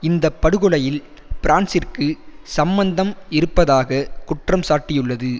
இந்த படுகொலையில் பிரான்சிற்கு சம்மந்தம் இருப்பதாக குற்றம் சாட்டியுள்ளது